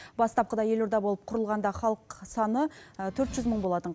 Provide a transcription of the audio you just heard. бастапқыда елорда болып құрылғанда халық саны төрт жүз мың болатын